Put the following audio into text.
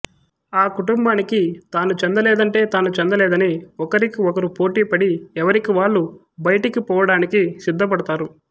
ఆ కుటుంబానికి తాను చెందలేదంటే తాను చెందలేదని ఒకరికి ఒకరు పోటీపడి ఎవరికి వాళ్లు బయటికి పోవడానికి సిద్ధపడతారు